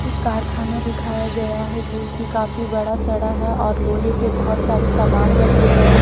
एक कारखाना दिखाया गया है जो कि काफी बड़ा सड़ा है और लोहे के बहुत सारे सामान रखे गए हैं।